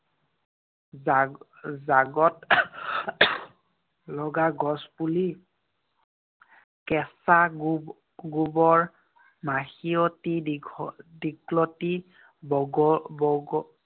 জা~ জাগত লগা গছপুলি, কেঁচা গোব~ গোবৰ, মাখিয়তী, দীঘ~ দীঘলতী, বগ